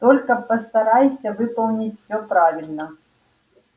только постарайся выполнить всё правильно